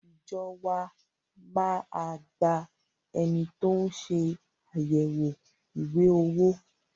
Ìjọ wa má a gba ẹni tó ń ṣe àyẹ̀wò ìwé owó.